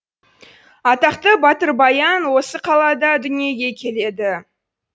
атақты батыр баян осы қалада дүниеге келеді